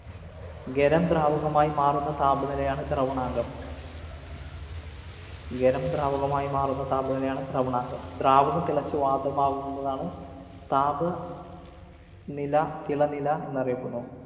ഖരം ദ്രാവകമായി മാറുന്ന താപനിലയാണ് ദ്രവണാങ്കം. ഖരം ദ്രാവകമായി മാറുന്ന താപനിലയാണ് ദ്രവണാങ്കം. ദ്രാവകം തിളച്ചു വാതകമാകുന്നതാണ് താപ നില തിളനില എന്നറിയപ്പെടുന്നു.